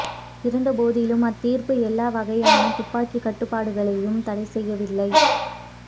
இருந்த போதிலும் அத்தீர்ப்பு எல்லா வகையான துப்பாக்கி கட்டுப்பாடுகளையும் தடை செய்யவில்லை